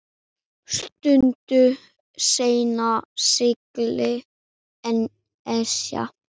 Stuttu seinna sigldi Esjan